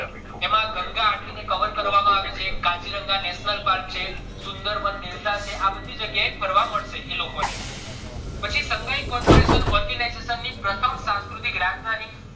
એમાં ગંગા ને cover કરવામાં આવી છે કાજીરંગા national park છે સુન્દાર્બન delta છે આ બધી જગ્યાએ ફરવા મળશે આ બધા લોકો ને પછી shanghai corporation organization પ્રથમ સંસ્કૃતિક રાજધાની